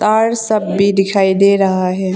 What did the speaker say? तार सब भी दिखाई दे रहा है।